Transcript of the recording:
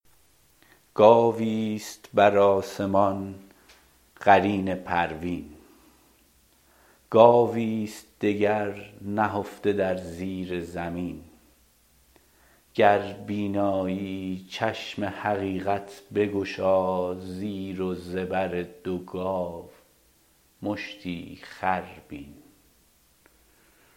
گاوی است بر آسمان قرین پروین گاوی است دگر نهفته در زیر زمین گر بینایی چشم حقیقت بگشا زیر و زبر دو گاو مشتی خر بین